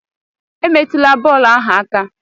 Emetụla bọọlụ ahụ aka!